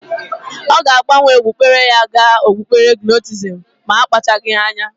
Ọ ga-agbanwe okpukpere ya ga okpukpere gnostisisim ma akpachagi anya.